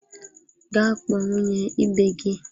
Gaa kpọọ nwunye ibe gị!